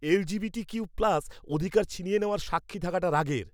LGBTQ plus অধিকার ছিনিয়ে নেওয়ার সাক্ষী থাকাটা রাগের।